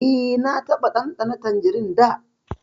E, na taɓa ɗanɗana tanjirin da.